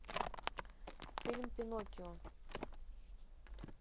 фильм пиноккио